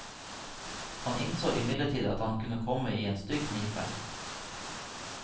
Han innså imidlertid at han kunne komme i en stygg knipe.